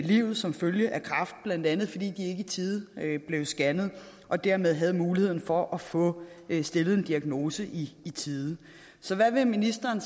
livet som følge af kræft blandt andet fordi de i tide blev scannet og dermed ikke havde muligheden for at få stillet en diagnose i i tide så hvad vil ministeren